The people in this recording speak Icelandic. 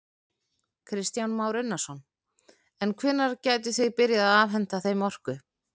Kristján Már Unnarsson: En hvenær gætuð þið byrjað að afhenta þeim orku?